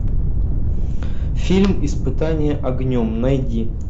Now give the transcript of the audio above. фильм испытание огнем найди